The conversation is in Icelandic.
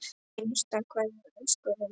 HINSTA KVEÐJA Elsku Reynir.